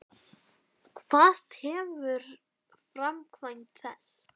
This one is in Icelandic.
Hvað tefur framkvæmd þess?